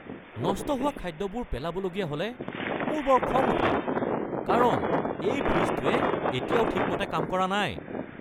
নষ্ট হোৱা খাদ্যবোৰ পেলাবলগীয়া হ’লে মোৰ বৰ খং উঠে কাৰণ এই ফ্ৰিজটোৱে এতিয়াও ঠিকমতে কাম কৰা নাই!